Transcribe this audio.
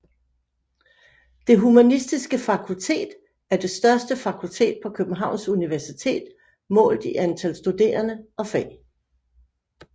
Det Humanistiske Fakultet er det største fakultet på Københavns Universitet målt i antal studerende og fag